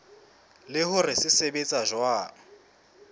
le hore se sebetsa jwang